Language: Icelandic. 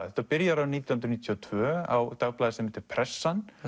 þetta byrjar nítján hundruð níutíu og tvö á dagblaði sem heitir Pressan